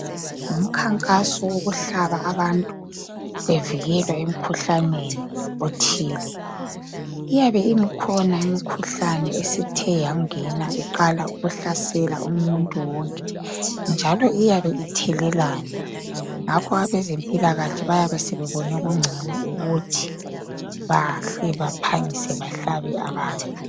Umkhankaso wokuhlaba abantu, bevikelwa emkhuhlaneni othile. Iyabe ikhona imikhuhlane eyabe esithe yangena iqala ukuhlasela umuntu wonke njalo iyabe ithelelana. Ngakho abezemphilakahle bayabe sebebona kungcono ukuthi bahle baphangise bahlabe abantu.